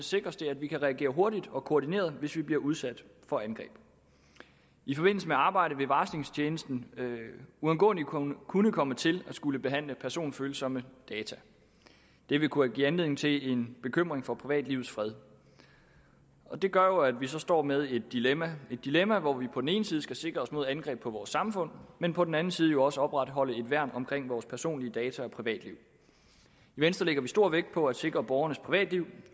sikres det at vi kan reagere hurtigt og koordineret hvis vi bliver udsat for angreb i forbindelse med arbejdet vil varslingstjenesten uundgåeligt kunne kunne komme til at skulle behandle personfølsomme data det vil kunne give anledning til en bekymring for privatlivets fred det gør jo at vi så står med et dilemma er et dilemma hvor vi på den ene side skal sikre os mod angreb på vores samfund men på den anden side også opretholde et værn omkring vores personlige data og privatliv i venstre lægger vi stor vægt på at sikre borgernes privatliv